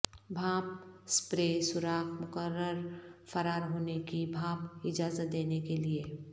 بھاپ سپرے سوراخ مقرر فرار ہونے کی بھاپ اجازت دینے کے لئے